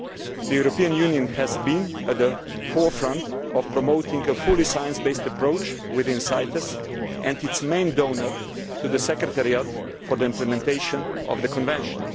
The European Union has been at the forefront of promoting a fully science based approach within CITES and is the main donor to the Secretariat for the implementation of the Convention.